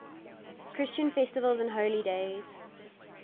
christian festivals and holy days